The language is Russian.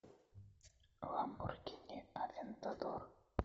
ламборгини авентадор